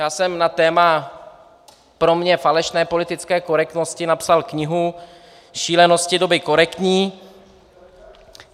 Já jsem na téma pro mě falešné politické korektnosti napsal knihu Šílenosti doby korektní.